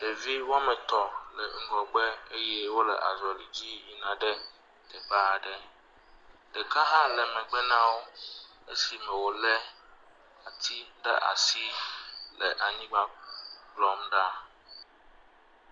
Ɖevi woame tɔ̃ le ŋgɔgbe eye wole azɔli dzi yina ɖe teƒe aɖe. Ɖeka hã le megbe na wo esime wòlé ati ɖe asi le anyigba kplɔm ɖa.